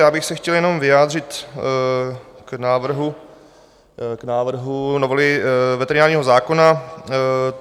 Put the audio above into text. Já bych se chtěl jenom vyjádřit k návrhu novely veterinárního zákona.